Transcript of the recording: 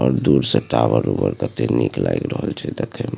और दूर से टावर उवर कते नीक लाएग रहल छै देखे में।